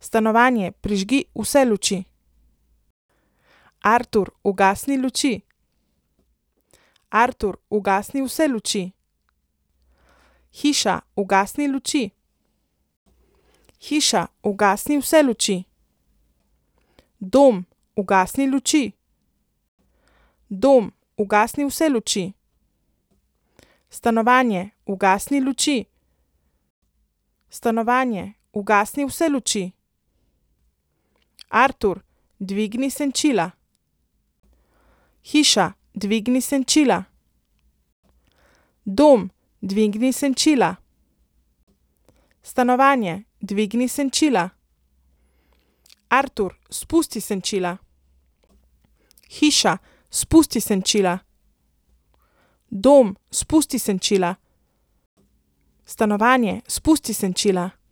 Stanovanje, prižgi vse luči. Artur, ugasni luči. Artur, ugasni vse luči. Hiša, ugasni luči. Hiša, ugasni vse luči. Dom, ugasni luči. Dom, ugasni vse luči. Stanovanje, ugasni luči. Stanovanje, ugasni vse luči. Artur, dvigni senčila. Hiša, dvigni senčila. Dom, dvigni senčila. Stanovanje, dvigni senčila. Artur, spusti senčila. Hiša, spusti senčila. Dom, spusti senčila. Stanovanje, spusti senčila.